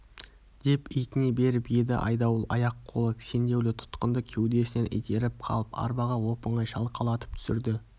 деп итіне беріп еді айдауыл аяқ-қолы кісендеулі тұтқынды кеудесінен итеріп қалып арбаға оп-оңай шалқалатып түсірді